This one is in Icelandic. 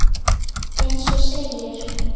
Eins og segir.